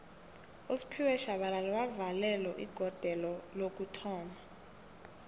usphiwe shabalala wavalelo igodelo lokuthoma